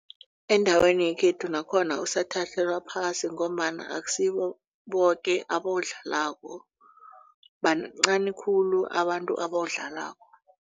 Endaweni yekhethu nakhona usathathelwa phasi ngombana akusibo boke abawudlalako bancani khulu abantu ebawudlalako.